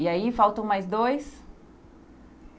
E aí, faltam mais dois?